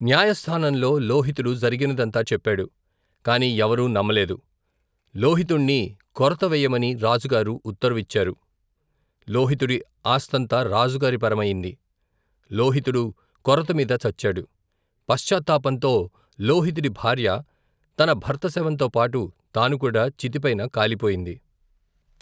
న్యాయస్తానంలో లోహితుడు జరిగినదంతా చేప్పాడు, కాని ఎవరూ నమ్మలేదు. లోహితుణ్ణి కొరత వెయ్యమని రాజుగారు ఉత్తరువిచ్చారు. లోహితుడి ఆస్థంతా రాజుగారి పరమయింది. లోహితుడు కొరతమీద చచ్చాడు. పశ్చాత్తాపంతో లోహితుడి భార్య తన భర్త శవంతోపాటు తాను కూడా చితిపైన కాలిపోయింది.